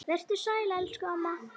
Vertu sæl elsku amma.